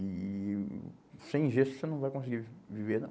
E e... Sem gesto você não vai conseguir vi viver, não.